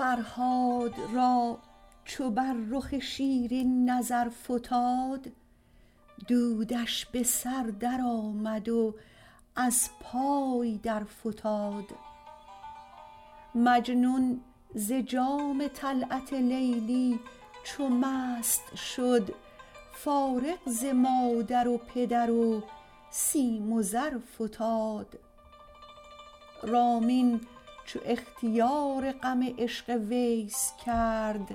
فرهاد را چو بر رخ شیرین نظر فتاد دودش به سر درآمد و از پای درفتاد مجنون ز جام طلعت لیلی چو مست شد فارغ ز مادر و پدر و سیم و زر فتاد رامین چو اختیار غم عشق ویس کرد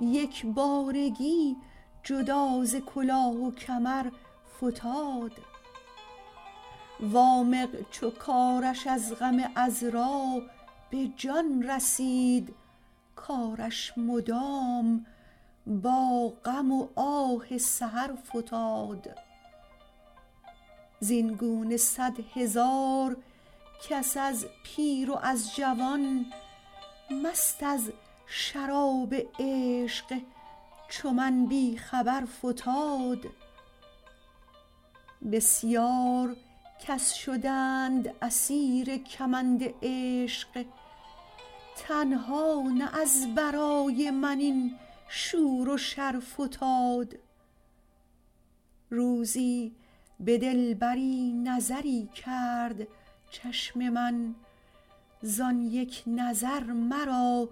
یک بارگی جدا ز کلاه و کمر فتاد وامق چو کارش از غم عـذرا به جان رسید کارش مدام با غم و آه سحر فتاد زین گونه صدهزار کس از پیر و از جوان مست از شراب عشق چو من بی خبر فتاد بسیار کس شدند اسیر کمند عشق تنها نه از برای من این شور و شر فتاد روزی به دلبری نظری کرد چشم من زان یک نظر مرا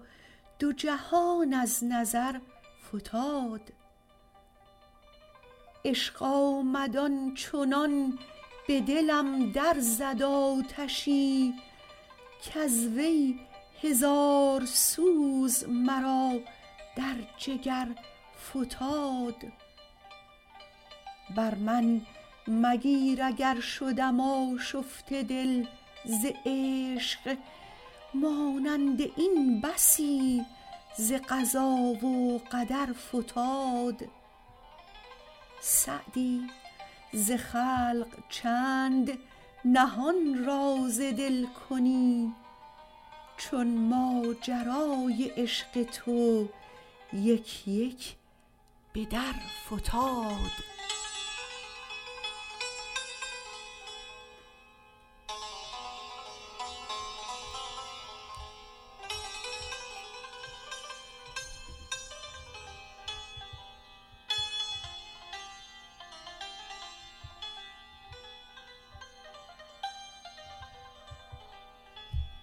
دو جهان از نظر فتاد عشق آمد آن چنان به دلم در زد آتشی کز وی هزار سوز مرا در جگر فتاد بر من مگیر اگر شدم آشفته دل ز عشق مانند این بسی ز قضا و قدر فتاد سعدی ز خلق چند نهان راز دل کنی چون ماجرای عشق تو یک یک به در فتاد